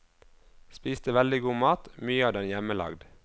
Spiste veldig god mat, mye av den hjemmelagd.